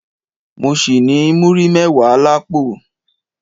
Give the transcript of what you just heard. Mọ ṣì ní múrí mẹ́wàá l'ápò